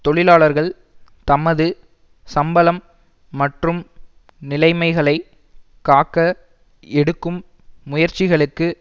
தொழிலாளர்கள் தமது சம்பளம் மற்றும் நிலைமைகளை காக்க எடுக்கும் முயற்சிகளுக்கு